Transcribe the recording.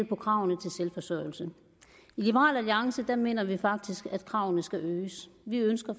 på kravene til selvforsørgelse i liberal alliance mener vi faktisk at kravene skal øges vi ønsker